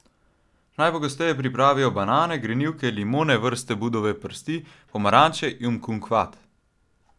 Najpogosteje pripravijo banane, grenivke, limone vrste budovi prsti, pomaranče in kumkvat.